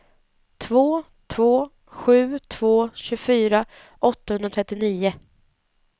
två två sju två tjugofyra åttahundratrettionio